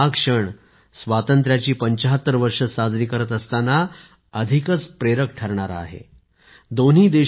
आणि हा क्षण स्वातंत्र्याची 75 वर्ष साजरी करताना अधिक प्रेरक ठरतो